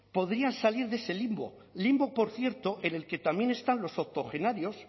podrían salir de ese limbo limbo por cierto en el que también están los octogenarios